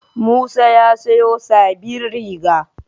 Musa ya siyo sabbin riga.